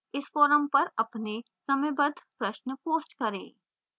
इस forum पर अपने समयबद्ध प्रश्न post करें